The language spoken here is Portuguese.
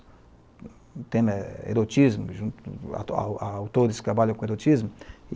O tema é erotismo, autores que trabalham com erotismo.